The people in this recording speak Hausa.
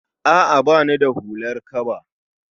A'a bani da hular kaba